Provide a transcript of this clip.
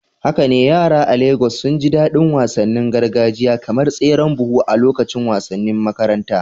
Haka ne, yara a Legas sun ji daɗin yin wasannin gargajiya kamar tseren buhu a lokacin wasannin makaranta.